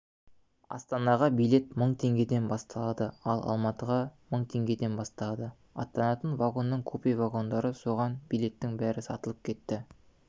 астанаға билет мың теңгеден басталады ал алматыға мың теңгеден басталады аттанатын вагонның купе вагондар соған билеттің бәрі сатылып кетті